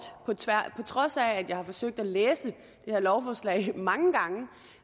på trods af at jeg har forsøgt at læse det her lovforslag mange gange